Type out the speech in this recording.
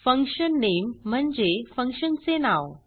fun name म्हणजे function चे नाव